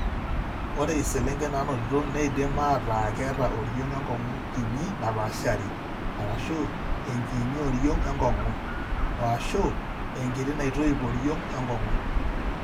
Ore iselengen naanotito neidim aataa keeta oriong' enkong'u kiinyi napaashari (enchiinyi oriong' enkong'u) o/ashu enkiti naitoip oriong' enkong'u.